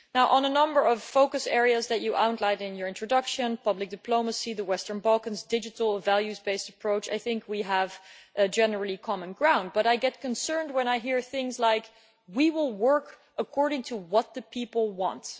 On a number of focus areas that you outlined in your introduction, such as public diplomacy, the Western Balkans and a digital values-based approach, I think we generally have common ground, but I am concerned when I hear things like we will work according to what the people want'.